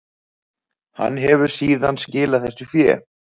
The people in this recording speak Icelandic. Hann hefur síðan skilað þessu fé